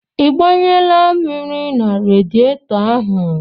Ị gbanyela mmiri na radietọ ahụ?